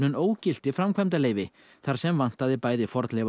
ógilti framkvæmdaleyfi þar sem vantaði bæði